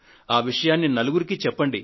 ఆ విషయాన్ని నలుగురికీ చెప్పండి